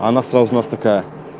она сразу у нас такая